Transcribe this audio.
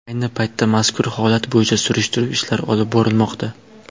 Ayni paytda mazkur holat bo‘yicha surishtiruv ishlari olib borilmoqda.